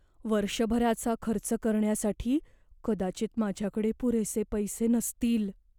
वर्षभराचा खर्च करण्यासाठी कदाचित माझ्याकडे पुरेसे पैसे नसतील.